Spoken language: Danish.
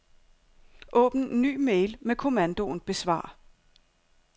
Åbn ny mail med kommandoen besvar.